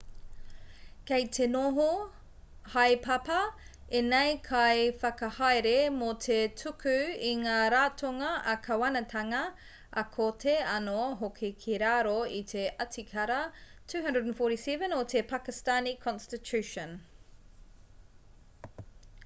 kei te noho haepapa ēnei kaiwhakahaere mō te tuku i ngā ratonga ā-kāwanatanga ā-kōti anō hoki ki raro i te atikara 247 o te pakistani constitution